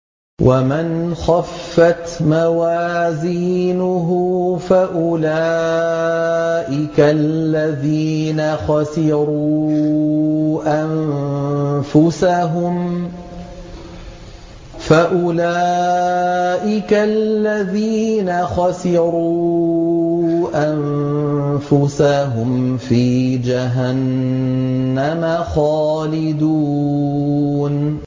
وَمَنْ خَفَّتْ مَوَازِينُهُ فَأُولَٰئِكَ الَّذِينَ خَسِرُوا أَنفُسَهُمْ فِي جَهَنَّمَ خَالِدُونَ